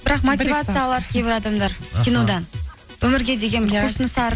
бірақ мотивация алады кейбір адамдар кинодан өмірге деген бір құлшынысы